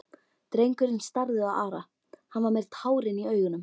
Drengurinn starði á Ara, hann var með tárin í augunum.